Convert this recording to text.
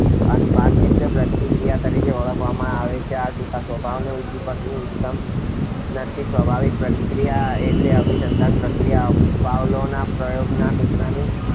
અનઅભિસંધિત પ્રતિક્રિયા તરીકે ઓળખવામાં આવે છે. આ ટૂંકમાં સ્વાભાવિક ઉદ્દીપકથી ઉત્પન્ન થતી સ્વાભાવિક પ્રતિક્રિયા એટલે અનઅભિસંધિત પ્રતિક્રિયા. પાવલોવના પ્રયોગમાં કૂતરાની